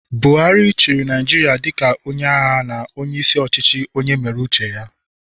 Buhari chịrị Naijiria dịka onye agha na onye isi ọchịchị onye mere uche ya